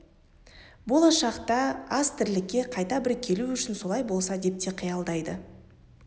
болашақта аз тірлікке қайта бір келу үшін солай болса деп те қиялдайды